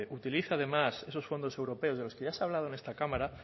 utilicen además esos fondos europeos de los que ya se ha hablado en esta cámara